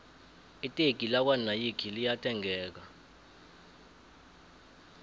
iteki lakwo nayikhi liya thengeka